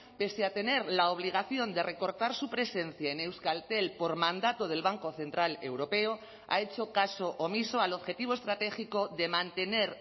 pese a tener la obligación de recortar su presencia en euskaltel por mandato del banco central europeo ha hecho caso omiso al objetivo estratégico de mantener